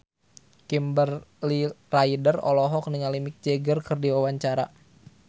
Kimberly Ryder olohok ningali Mick Jagger keur diwawancara